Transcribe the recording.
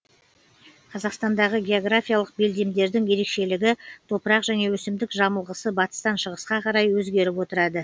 қазақстандағы географиялық белдемдердің ерекшелігі топырақ және өсімдік жамылғысы батыстан шығысқа қарай өзгеріп отырады